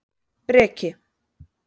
Breki